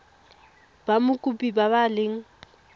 ba mokopi ba ba leng